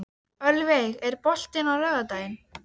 Jakar ýta þá til stórgrýti og rista og rjúfa árbakka.